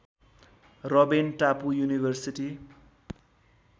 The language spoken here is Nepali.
रबेन टापु युनिभर्सिटी